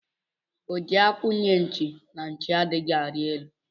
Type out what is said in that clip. O ji akwụ nye nchi, na nchi adịghị arị elu